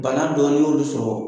Bana dɔɔni y'olu sɔrɔ